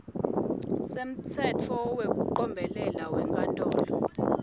semtsetfo wekucombelela wenkantolo